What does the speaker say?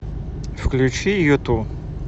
включи юту